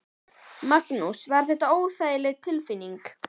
Magnús: Var þetta óþægileg tilfinning?